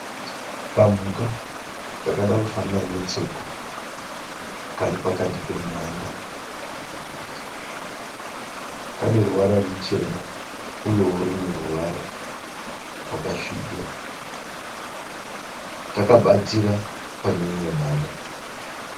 Kamhuka kakada kufanana netsoko kari pakati pemhanda dzemuti kane ruvara ruchena, uyewo rumwe ruvara rwakasvibira. Kaka batira paneimwe mhanda.